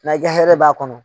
na i ka hɛrɛ b'a kɔnɔ.